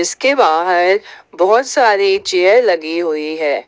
इसके बाहर बहुत सारी चेयर लगी हुई है।